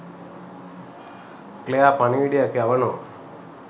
Claire පණිවිඩයක් යවනවා